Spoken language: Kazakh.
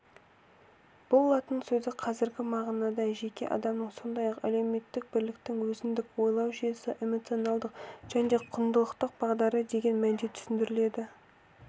бұл латынның сөзі қазіргі мағынада жеке адамның сондай-ақ әлеуметтік бірліктің өзіндік ойлау жүйесі эмоционалдық және құндылықтық бағдары деген мәнде түсіндіріледі